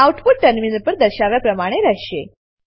output terminal પર દર્શાવ્યા પ્રમાણે રહેશે